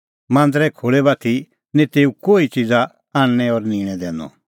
मांदरे खोल़ै बाती निं तेऊ कोही किछ़ी च़िज़ा आणनैं और निंणै दैनअ